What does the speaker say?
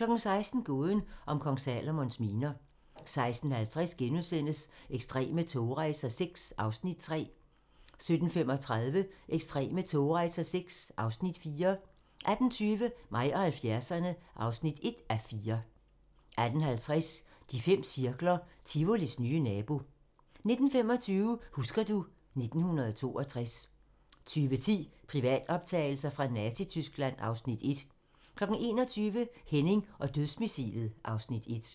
16:00: Gåden om Kong Salomons miner 16:50: Ekstreme togrejser VI (Afs. 3)* 17:35: Ekstreme togrejser VI (Afs. 4) 18:20: Mig og 70'erne (1:4) 18:50: De fem cirkler - Tivolis nye nabo 19:25: Husker du ... 1962 20:10: Privatoptagelser fra Nazityskland (Afs. 1) 21:00: Henning og dødsmissilet (Afs. 1)